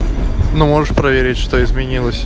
ну можешь проверить что изменилось